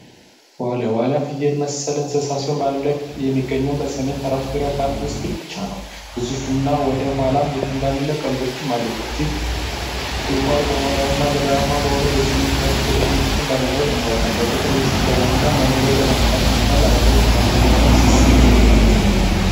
ዋልያ፡ ዋልያ ፍየል መሰል እንስሳ ሲሆን በአለም ላይ የሚገኘው በሰሜን ተራሮች ብሔራዊ ፓርክ ብቻ ነው ግዙፍ እና ወደ ኋላ የተንጋለሉ ቀንዶችም አሉት እጅግ ቁልቋላማ በሆነውና ገደላማ በሆነው በሰሜን ተራሮች ብሔራዊ ፓርክ ውስጥ በመኖር ይታወቃል በቁጥር በማነሱና በመጥፋት ምክንያት ለአደጋ የተጋለጠ እንስሳም ጭምር ነው።